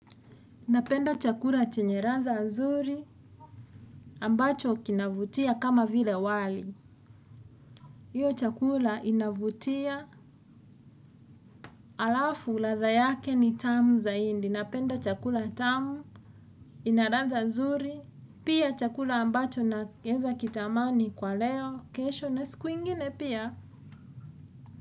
Napenda chakula chenye ladha nzuri ambacho kinavutia kama vile wali. Hiyo chakula inavutia, halafu ladha yake ni tamu zaindi. Napenda chakula tamu, ina ladha nzuri, pia chakula ambacho naweza kitamani kwa leo, kesho na siku ingine pia.